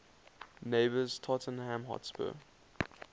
neighbours tottenham hotspur